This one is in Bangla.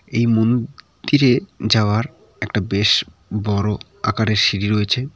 এই মন দিরে যাওয়ার একটা বেশ বড়ো আকারের সিঁড়ি রয়েছে।